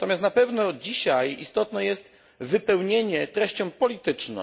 Natomiast na pewno dzisiaj istotne jest wypełnienie sąsiedztwa treścią polityczną.